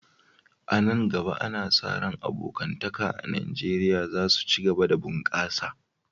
A nan gaba, ana sa ran abokantaka a Najeriya za su ci gaba da bunƙasa.